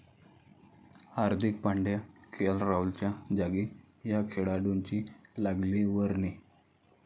हार्दिक Pandya, KL राहुलच्या जागी या खेळाडूंची लागली वर्णी